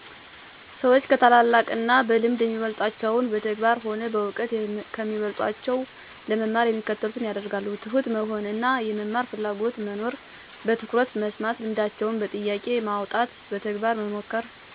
ሰዎች ከታላላቅ እና በልምድ የሚበልጣቸውን በተግባር ሆነ በእውቀት ከሚበልጦቸው ለመማር የሚከተሉትን ያደርጋሉ፦ ትሁት መሆን እና የመማር ፍላጎትና መኖር፣ በትኩረት መስማት፣ ልምዳቸውን በጥያቄ ማውጣት፣ በተግባር መሞከር፣ መማርን እንደ ሂደት መቁጠር፣ አክባሪ መሆን፣ የራስዎን ልምድ መሠርት... ወዘተ ናቸው። የእኔ ተሞክሮ፦ እኔ ከላይኛው የእድሜ እና እውቀት ደረጃ ካሉ ሰዎች ወይም አማካሪዎች ሲነገሩ ወይም ሲያስረዱ በጣምነው የማዳምጠው ወይም የምከታተለው በአጠቃላይ መማር የሚቆም ሂደት አይዶለም የዕለት ተዕለት ልምምድ እንጂ።